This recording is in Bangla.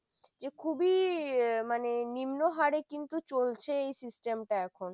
যে খুবই মানে নিম্ন হারে কিন্তু চলছে এই system টা এখন।